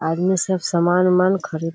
आदमी सब सामान-उमान खरीद --